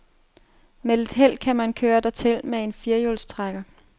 Med lidt held kan man køre dertil med en firehjulstrækker.